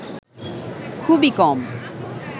খুবই কম